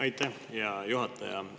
Aitäh, hea juhataja!